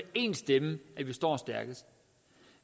én stemme at vi står stærkest